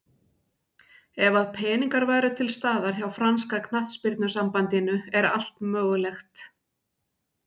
Ef að peningar eru til staðar hjá franska knattspyrnusambandinu er allt mögulegt.